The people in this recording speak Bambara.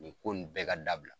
Nin ko nin bɛɛ ka dabila.